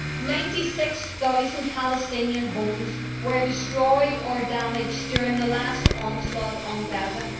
Ninety six thousand Palestinian homes were destroyed or damaged during the last onslaught on Gaza.